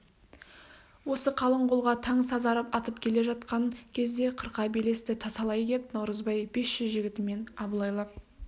осы қалың қолға таң сазарып атып келе жатқан кезде қырқа белесті тасалай кеп наурызбай бес жүз жігітімен абылайлап